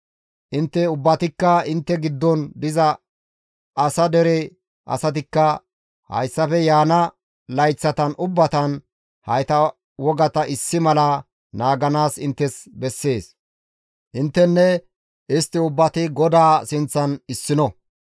Intte ubbatikka intte giddon diza asa dere asatikka hayssafe yaana layththatan ubbatan hayta wogata issi mala naaganaas inttes bessees; intteninne istti ubbati GODAA sinththan issino.